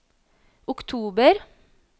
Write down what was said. oktober